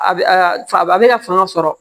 A bɛ a a bɛ na fanga sɔrɔ